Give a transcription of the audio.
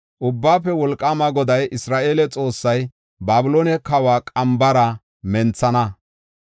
“Ubbaafe Wolqaama Goday, Isra7eele Xoossay, ‘Babiloone kawa qambara menthana.